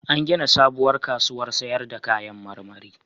An gina sabuwar kasuwar sayar da kayan marmari.